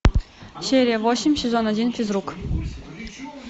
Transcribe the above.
серия восемь сезон один физрук